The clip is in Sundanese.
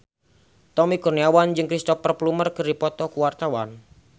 Tommy Kurniawan jeung Cristhoper Plumer keur dipoto ku wartawan